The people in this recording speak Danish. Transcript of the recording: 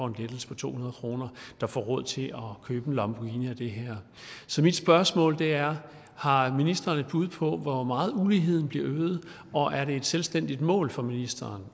en lettelse på to hundrede kroner får råd til at købe en lamborghini af det her så mit spørgsmål er har ministeren et bud på hvor meget uligheden bliver øget og er det et selvstændigt mål for ministeren